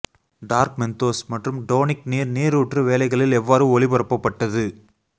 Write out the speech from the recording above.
dark Mentos மற்றும் tonic நீர் நீரூற்று வேலைகளில் எவ்வாறு ஒளிபரப்பப்பட்டது